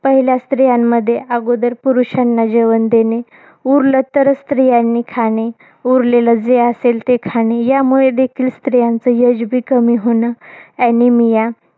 पहिल्या स्त्रियांमध्ये आगोदर पुरुषांना जेवण देणे. उरलं तरंच स्त्रियांनी खाणे. उरलेलं जे असेल ते खाणे. यामुळे देखील स्त्रियांचं age बी कमी होणं. Anemia